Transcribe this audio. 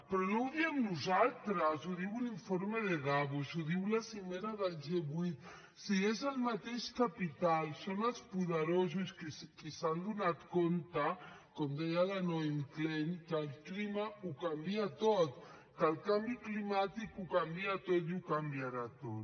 però no ho diem nosaltres ho diu l’informe de davos ho diu la cimera del g vuit si és el mateix capital són els poderosos qui s’han adonat com deia la naomi klein que el clima ho canvia tot que el canvi climàtic ho canvia tot i ho canviarà tot